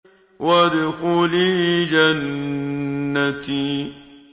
وَادْخُلِي جَنَّتِي